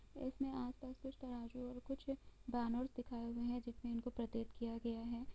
इसमे आस पास कुछ तराजू और कुछ बेनर्स दिखाए गए है जिसमे इनको प्रतीत किया गया है ।